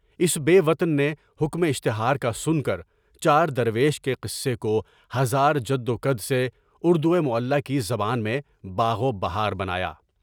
اس بے وطن نے حکمِ اشتہار کا سن کر چار درویش کے قصے کو زار جد و جہد سے اُردوئے معلّٰی کی زبان میں باغ و بہار بنایا۔